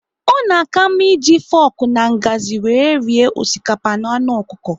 Ọ na aka mma eji foku na ngazi wéré rie osikapa na anụ ọkụkọ